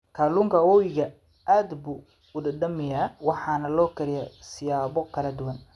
Kalluunka webiga aad buu u dhadhamiyaa waxaana loo kariyaa siyaabo kala duwan.